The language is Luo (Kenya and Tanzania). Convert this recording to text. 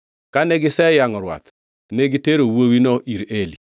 Kane giseyangʼo rwath ne gitero wuowino ir Eli.